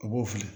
A b'o filɛ